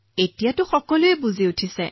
এতিয়া মানুহে বুজি পাইছে